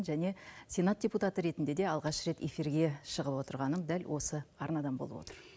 және сенат депутаты ретінде де алғаш рет эфирге шығып отырғаным дәл осы арнадан болып отыр